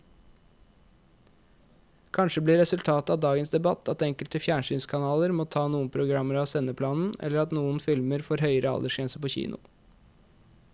Kanskje blir resultatet av dagens debatt at enkelte fjernsynskanaler må ta noen programmer av sendeplanen eller at noen filmer får høyere aldersgrense på kino.